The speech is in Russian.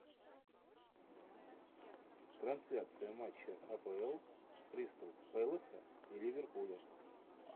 трансляция матча апл кристал пэласа и ливерпуля